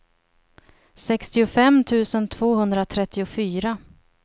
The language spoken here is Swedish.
sextiofem tusen tvåhundratrettiofyra